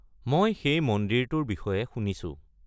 মই সেই মন্দিৰটোৰ বিষয়ে শুনিছোঁ।